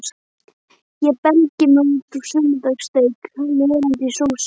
Ég belgi mig út af sunnudagssteik, löðrandi í sósu.